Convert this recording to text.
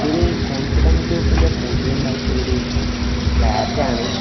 ഇതൊരു കോൺഫിഡൻ്റ് ഗ്രൂപ്പിൻ്റെ പുതിയ ഇണ്ടാക്കിയ ഒരു ഫ്ലാറ്റ് ആണ്.